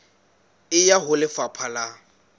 e ya ho lefapha la